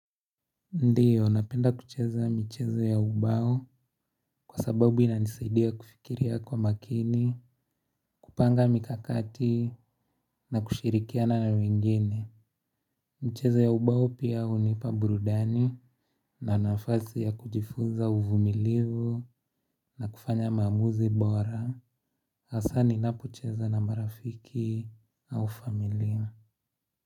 Ndiyo, napenda kucheza michezo ya ubao kwa sababu inanisaidia kufikiria kwa makini, kupanga mikakati na kushirikiana na wengine. Mchezo ya ubao pia hunipa burudani na nafasi ya kujifunza uvumilivu na kufanya maamuzi bora. Hasaa ninapocheza na marafiki au familia.